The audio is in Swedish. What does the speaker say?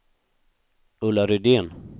Ulla Rydén